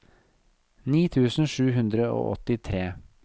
ni tusen sju hundre og åttitre